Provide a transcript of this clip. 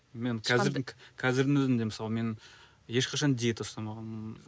мен қазірдің өзінде мысалы мен ешқашан диета ұстамағанмын